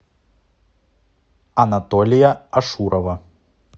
анатолия ашурова